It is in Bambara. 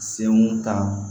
Senkun ta